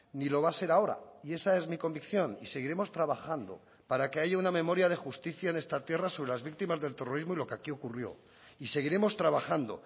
ni lo va a ser ahora y esa es mi convicción y seguiremos trabajando para que haya una memoria de justicia en esta tierra sobre las víctimas del terrorismo y lo que aquí ocurrió y seguiremos trabajando